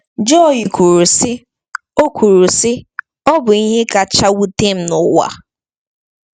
Joy kwuru, sị: “Ọ kwuru, sị: “Ọ bụ ihe kacha wute m n’ụwa.”